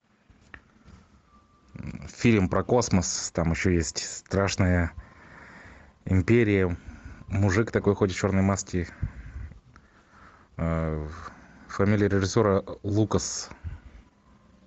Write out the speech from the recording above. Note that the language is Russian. фильм про космос там еще есть страшная империя мужик такой ходит в черной маске фамилия режиссера лукас